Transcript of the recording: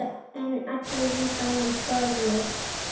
En allir í bænum fórust.